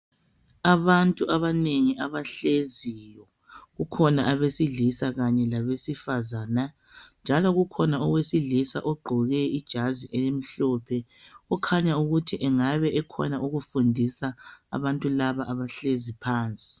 Abantu abanengi abahleziyo kukhona abesilisa kanye labesifazana njalo kukhona owesilisa ogqoke ijazi elimhlophe okhanya ukuthi angabe ekhona okufundisa abantu laba abahlezi phansi.